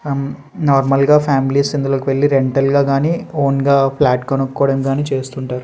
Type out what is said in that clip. ఆ నార్మల్ గా ఫ్యామిలీస్ ఇందులోకెళ్లి రెంటల్ గా కానీ ఓన్ గా ఫ్లాట్ కొనుక్కోవడం గానీ చేస్తుంటారు.